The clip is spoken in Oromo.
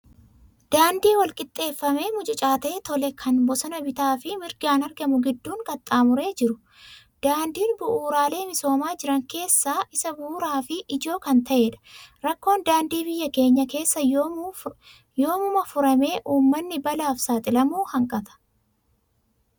Daandii wal-qixxeeffamee mucucaatee tole, kan bosona bitaa fi mirgaan argamu gidduun qaxxaamuree jiru. Daandiin bu'uuraalee misoomaa jiran keessaa isa bu'uuraa fi ijoo kan ta'edha. Rakkoon daandii biyya keenya keessaa yoomuma furamee uummanni balaaf saaxilamuu hanqata?